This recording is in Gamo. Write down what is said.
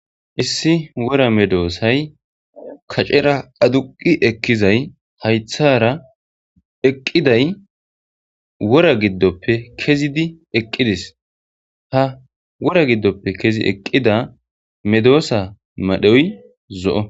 issi wora medoosay kacera aduqi ekkizay haythara eqqiday wora giddoppe kezidi eqqides ha wora giddoppe kezi eqqida medoosa madhoy zo'o.